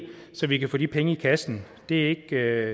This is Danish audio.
så vi kan få de penge i kassen det